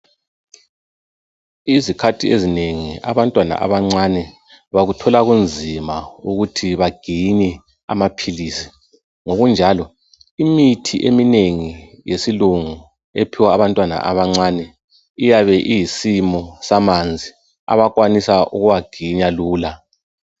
Izikhathi ezinengi abantwana abancane bakuthola kunzima ukuthi baginye amaphilizi , ngokunjalo imithi eminengi yesilungu ephiwa abantwana abancane iyabe iyisimo samanzi abakwanisa ukuwaginya lula